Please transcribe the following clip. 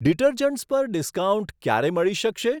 Detergents પર discount ક્યારે મળી શકશે?